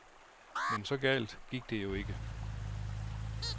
Men så galt gik det jo ikke.